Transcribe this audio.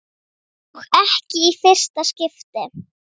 Og ekki í fyrsta skipti.